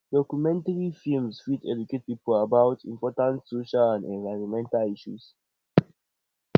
documentary films fit educate people about important social and environmental issues